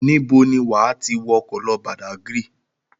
Níbo ni wà á ti wọkọ̀ lọ Badagry?